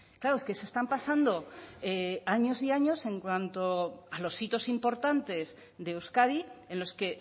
claro es que se están pasando años y años en cuanto a los hitos importantes de euskadi en los que